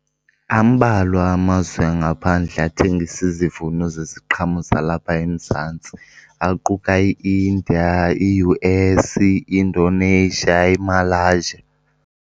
Ambalwa amazwe angaphandle athengisa izivuno zeziqhamo zalapha eMzantsi, aquka i-India, iU_S, i-Indonesia, iMalasyia.